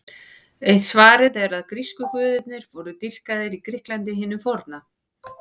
Eitt svarið er að grísku guðirnir voru dýrkaðir í Grikklandi hinu forna.